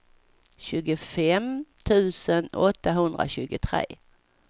tjugofem tusen åttahundratjugotre